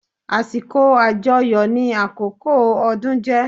Àsìkò àjọyọ̀ ni àkókò ọdún jé